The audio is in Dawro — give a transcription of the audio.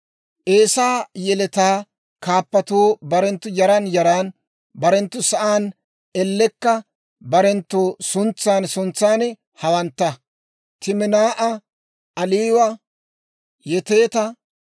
Eesaa yeletaa kaappatuu barenttu yaran yaran, barenttu sa'aan ellekka barenttu suntsan suntsan hawantta; Timinaa'a, Aliwa, Yeteeta,